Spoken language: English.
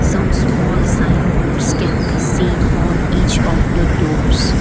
some small sign boards can be seen on each of the doors.